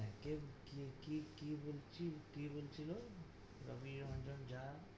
কেম কি কি কি কি বলছি~ কি বলছিলো? রবি রাঞ্জন জা।